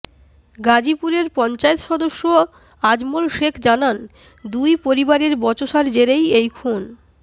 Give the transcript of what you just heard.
গাজীপুরের পঞ্চায়েত সদস্য আজমল শেখ জানান দুই পরিবারের বচসার জেরেই এই খুন